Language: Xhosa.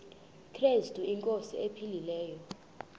krestu inkosi ephilileyo